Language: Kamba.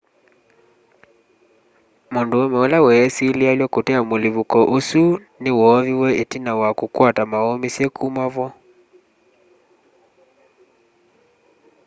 mũndũũme ũla wesĩlĩalw'a kũtea mũlĩpũko ũsũ nĩ woovĩwe ĩtina wa kũkwata maũmĩsye kũma vo